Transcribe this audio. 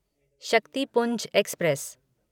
Shaktipunj express